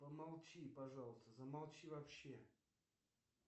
помолчи пожалуйста замолчи вообще